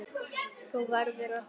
Þú verður að koma!